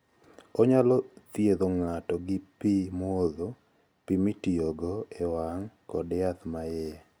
Onyalo thiedho ng'ato gi pi modho, pi mitiyogo e wang ', kod yath ma iye.